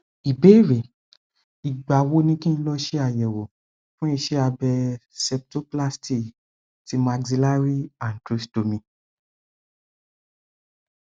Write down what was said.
ìbéèrè igba wo ni kin lo se ayewo fun ise abe septoplasty ti maxillary antrostomy